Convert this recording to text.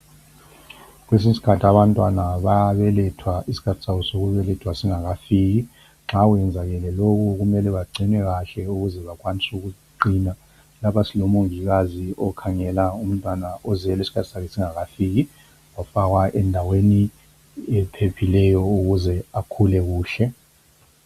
Kwesinye isikhathi abantwana bayabelethwa isikhathi sabo sokubelethwa singakafiki. Nxa sokwenzakele lokhu kumele bagcinwe kahle ukuze bakwanise ukuqina. Lapha silomongikazi okhangela umntwana ozelwe isikhathi sakhe singakafiki wafakwa endaweni ephephileyo ukuze akhule kuhle.